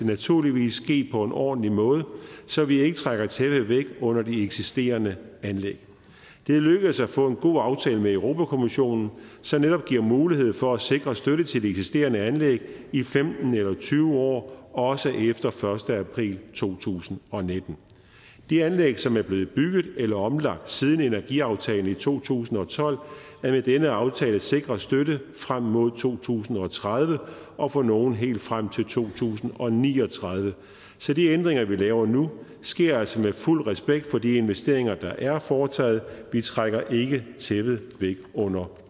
naturligvis ske på en ordentlig måde så vi ikke trækker tæppet væk under de eksisterende anlæg det er lykkedes at få en god aftale med europa kommissionen som netop giver mulighed for at sikre støtte til de eksisterende anlæg i femten eller tyve år også efter den første april to tusind og nitten de anlæg som er blevet bygget eller omlagt siden energiaftalen i to tusind og tolv er med denne aftale sikret støtte frem mod to tusind og tredive og for nogle helt frem til to tusind og ni og tredive så de ændringer vi laver nu sker altså med fuld respekt for de investeringer der er foretaget vi trækker ikke tæppet væk under